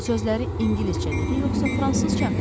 Bu sözləri ingiliscə dedi yoxsa fransızca?